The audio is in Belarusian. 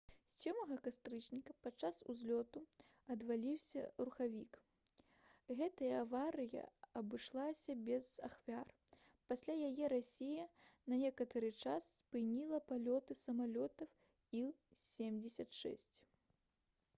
7 кастрычніка падчас узлёту адваліўся рухавік гэтая аварыя абышлася без ахвяр пасля яе расія на некаторы час спыніла палёты самалётаў іл-76